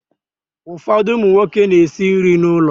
Ụfọdụ ụmụ nwoke na-esi nri n'ụlọ.